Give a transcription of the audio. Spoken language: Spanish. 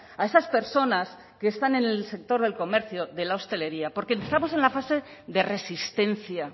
a esas personas que están en el sector del comercio de la hostelería porque estamos en la fase de resistencia